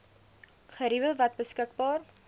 geriewe wat beskikbaar